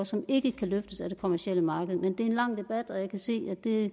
som ikke kan løftes af det kommercielle marked det er en lang debat